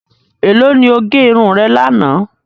Ẹ̀lọ́ ni o gé irun rẹ̀ lana?